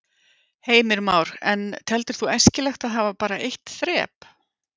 Heimir Már: En teldir þú æskilegt að hafa bara eitt þrep?